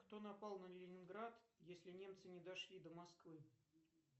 кто напал на ленинград если немцы не дошли до москвы